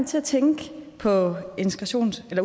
til at tænke på